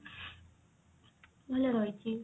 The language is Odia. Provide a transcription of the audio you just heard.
ଭଲ ରହିଛି